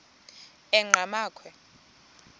enqgamakhwe